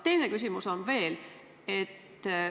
Teine küsimus on veel.